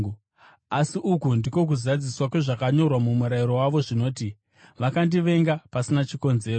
Asi uku ndiko kuzadziswa kwezvakanyorwa muMurayiro wavo zvinoti: ‘Vakandivenga pasina chikonzero.’